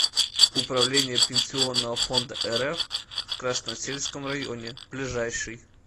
управление пенсионного фонда рф в красносельском районе ближайший